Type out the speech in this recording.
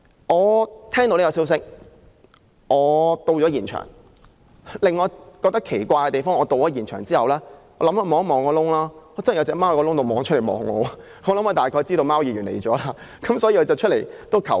我聽聞這個消息後到了現場，當我看看洞口，真奇怪，果然看到一隻貓從洞口望向我，牠大概知道"貓議員"來了，所以才現身求救。